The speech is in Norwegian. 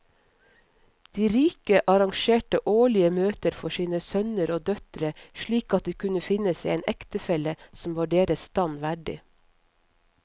De rike arrangerte årlige møter for sine sønner og døtre slik at de kunne finne seg en ektefelle som var deres stand verdig.